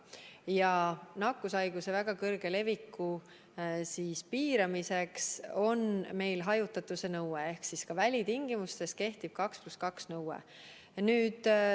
Ja nakkushaiguse väga kõrge leviku piiramiseks on meil hajutatuse nõue, st ka välitingimustes kehtib 2 + 2 nõue.